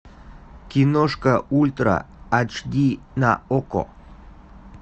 киношка ультра ач ди на окко